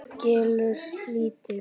Kelur lítið.